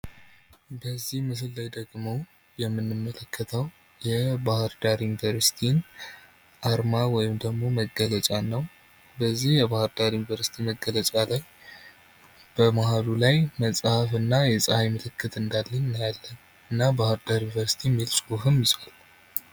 በዚህ ምስል ላይ ደግሞ የምንመለከተው የባህር ዳር ዩኒቨርሲቲ መለያ አርማ ወይም መገለጫ ሲሆን፤ በዚህ የባህር ዳር ዩኒቨርሲቲ መገለጫ ላይ በመሃሉ ላይ መጽሃፍ እና የጸሃይ ምልክት የያዘ ሲሆን፤ ባህርዳር ዩኒቨርሲቲ የሚል ጽሑፍም ይዟል።